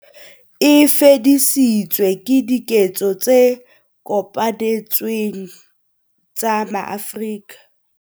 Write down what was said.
E fedisitswe ke diketso tse kopanetsweng tsa maAfrika